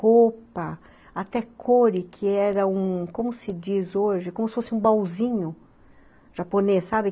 Roupa, até coure, que era um, como se diz hoje, como se fosse um baúzinho japonês, sabe?